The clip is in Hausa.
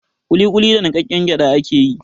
Ƙuliƙuli da niƙaƙƙen gyaɗa ake yi.